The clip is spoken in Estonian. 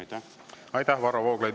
Aitäh, Varro Vooglaid!